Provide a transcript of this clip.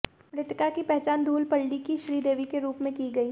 मृतका की पहचान धूलपल्ली की श्रीदेवी के रूप में की गई